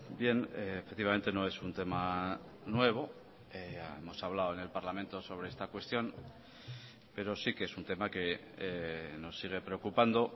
bien efectivamente no es un tema nuevo hemos hablado en el parlamento sobre esta cuestión pero sí que es un tema que nos sigue preocupando